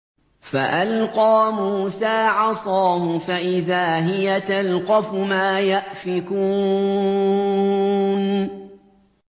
فَأَلْقَىٰ مُوسَىٰ عَصَاهُ فَإِذَا هِيَ تَلْقَفُ مَا يَأْفِكُونَ